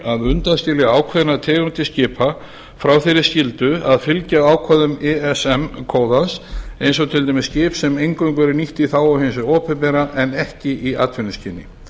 að undanskilja ákveðnar tegundir skipa frá þeirri skyldu að fylgja ákvæðum ism kóðans eins og til dæmis skip sem eingöngu eru nýtt í þágu hins opinbera en ekki í atvinnuskyni